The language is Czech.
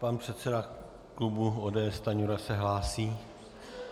Pan předseda klubu ODS Stanjura se hlásí.